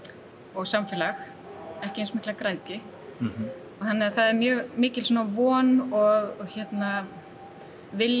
og samfélag ekki eins mikla græðgi þannig að það er mjög mikil von og vilji